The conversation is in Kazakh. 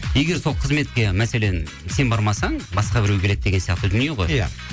егер сол қызметке мәселен сен бармасаң басқа біреу келеді деген сияқты дүние ғой иә